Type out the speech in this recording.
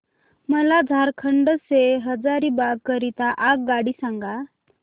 मला झारखंड से हजारीबाग करीता आगगाडी सांगा